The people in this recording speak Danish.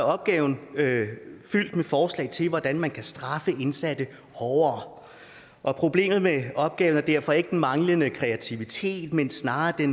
opgaven fyldt med forslag til hvordan man kan straffe indsatte hårdere og problemet med opgaven er derfor ikke den manglende kreativitet men snarere det